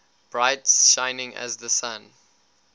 bright shining as the sun